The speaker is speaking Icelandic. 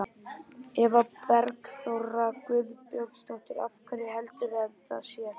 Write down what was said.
Eva Bergþóra Guðbergsdóttir: Af hverju heldurðu að það sé?